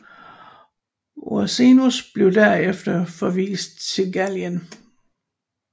Ursinus blev derefter forvist til Gallien